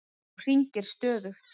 Hún hringir stöðugt.